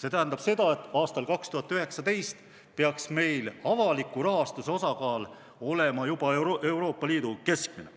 See tähendab, et aastal 2019 peaks meil avaliku rahastuse osakaal olema juba Euroopa Liidu keskmine